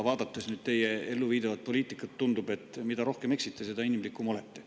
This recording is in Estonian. Vaadates nüüd teie elluviidavat poliitikat, tundub, et mida rohkem eksite, seda inimlikum olete.